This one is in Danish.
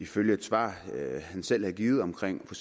følge af et svar han selv havde givet omkring for